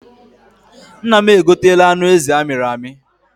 Nna m e gotela anụ ezi amịrị amị.